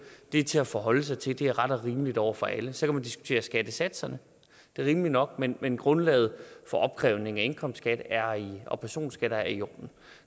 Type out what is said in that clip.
det er til at forholde sig til det er ret og rimeligt over for alle så kan man diskutere skattesatserne det er rimeligt nok men men grundlaget for opkrævningen af indkomstskat og personskatter er i orden